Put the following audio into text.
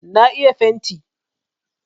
Na iya fenti.